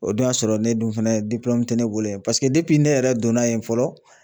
O dun y'a sɔrɔ ne dun fɛnɛ te ne bolo yen paseke ne yɛrɛ donna yen fɔlɔ